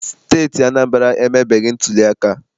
Steeti Anambra emebeghị ntuliaka.